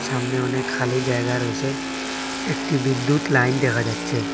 সামনে অনেক খালি জায়গা রয়েসে একটি বিদ্যুৎ লাইন দেখা যাচ্ছে।